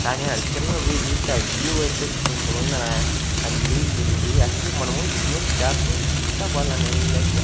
కానీ అది కింద వ్యూ చూస్తే ఆ వ్యూ అయితే సూపర్ ఉంది నా ఆ నీళ్లుండి అటుపొయ్యి మనము ఇక్కడ్నుంచి జారుకుంటా పోవల్ల ఆ నీల్లల్లోలి .